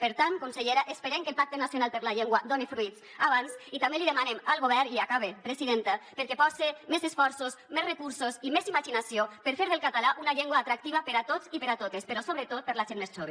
per tant consellera esperem que el pacte nacional per la llengua done fruits abans i també li demanem al govern i acabe presidenta que pose més esforços més recursos i més imaginació per fer del català una llengua atractiva per a tots i per a totes però sobretot per a la gent més jove